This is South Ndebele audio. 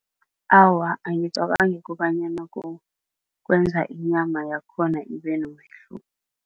Awa, angicabangi kobanyana kukwenza inyama yakhona ibe nomehluko.